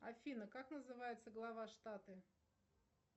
афина как называется глава штата